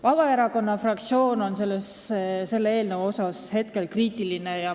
Vabaerakonna fraktsioon on selle eelnõu suhtes kriitiline.